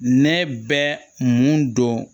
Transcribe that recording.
Ne bɛ mun don